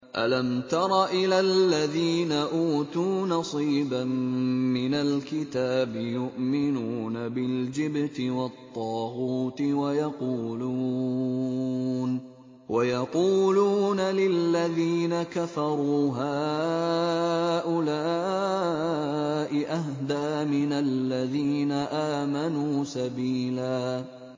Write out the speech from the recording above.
أَلَمْ تَرَ إِلَى الَّذِينَ أُوتُوا نَصِيبًا مِّنَ الْكِتَابِ يُؤْمِنُونَ بِالْجِبْتِ وَالطَّاغُوتِ وَيَقُولُونَ لِلَّذِينَ كَفَرُوا هَٰؤُلَاءِ أَهْدَىٰ مِنَ الَّذِينَ آمَنُوا سَبِيلًا